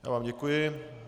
Já vám děkuji.